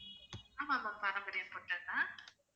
ஆமாம் ma'am பாரம்பரியம் hotel தான்